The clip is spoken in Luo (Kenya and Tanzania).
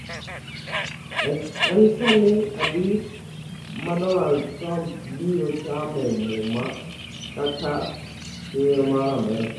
En saa adi ma Donald Trump biro chame muma kaka ker mar Amerka?